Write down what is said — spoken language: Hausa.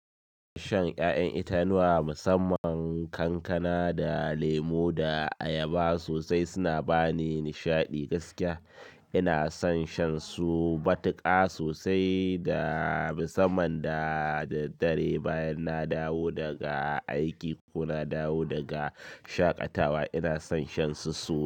Shan 'ya'yan itatuwa musamman kankana da lemo da ayaba sosai suna bani nishaɗi gaskiya. Ina son shan su matuka sosai da musamman da daddare bayan na dawo daga aiki ko na dawo daga shaƙatawa ina son shan su sosai.